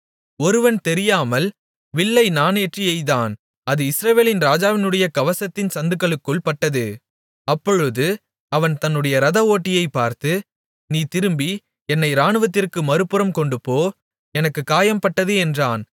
ஒருவன் தெரியாமல் வில்லை நாணேற்றி எய்தான் அது இஸ்ரவேலின் ராஜாவினுடைய கவசத்தின் சந்துகளுக்குள் பட்டது அப்பொழுது அவன் தன்னுடைய ரத ஓட்டியைப் பார்த்து நீ திருப்பி என்னை இராணுவத்திற்கு மறுபுறம் கொண்டுபோ எனக்குக் காயம்பட்டது என்றான்